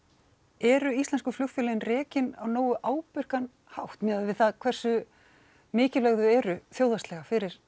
eru íslensku flugfélögin rekin á nógu ábyrgan hátt miðað við hversu mikilvæg þau eru þjóðfélagslega